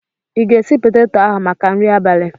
I ga-esi peteto ahụ maka nri abalị?